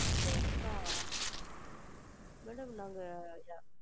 Two days சா madam நாங்க,